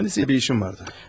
Kəndisi ilə bir işim vardı.